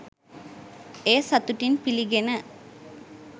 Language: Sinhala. එය සතුටින් පිළිගෙන